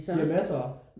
Vi har massere?